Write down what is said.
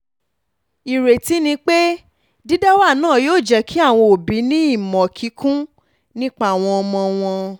ìrètí ni pé dídáwà náà yóò jẹ́ kí àwọn òbí ní ìmọ̀ kíkún nípa àwọn ọmọ wọn